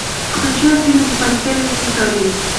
включай фильм в постели с викторией